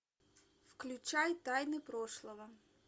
включай тайны прошлого